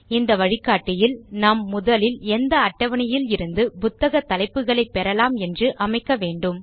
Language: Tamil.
இந்த வழிகாட்டியில் நாம் முதலில் எந்த அட்டவணையில் இருந்து புத்தக தலைப்புகளை பெறலாம் என்று அமைக்க வேண்டும்